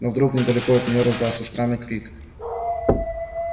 но вдруг недалеко от нее раздался странный крик